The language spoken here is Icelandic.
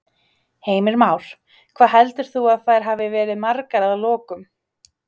Heimir Már: Hvað heldur þú að þær hafi verið margar að lokum?